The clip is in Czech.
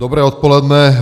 Dobré odpoledne.